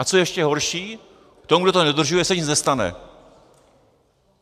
A co je ještě horší, tomu, kdo to nedodržuje, se nic nestane.